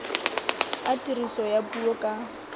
a tiriso ya puo ka